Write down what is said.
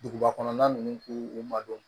Duguba kɔnɔna ninnu k'u u madon